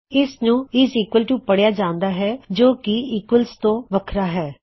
ਇਸ ਨੂੰ is equal to ਪੱੜਿਆ ਜਾਉਂਦਾ ਹੈ ਜੋ ਕੀ ਈਕੁਏਲਜ਼ ਤੋ ਵੱਖਰਾ ਹੈ